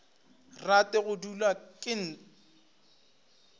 rate go dulwa ke nt